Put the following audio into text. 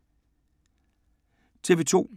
TV 2